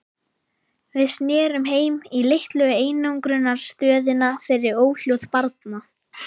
Við snerum heim- í litlu einangrunarstöðina fyrir óhljóð barna.